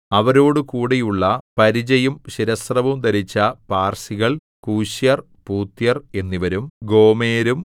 അവരോടുകൂടിയുള്ള പരിചയും ശിരസ്ത്രവും ധരിച്ച പാർസികൾ കൂശ്യർ പൂത്യർ എന്നിവരും ഗോമെരും